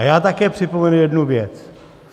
A já také připomenu jednu věc.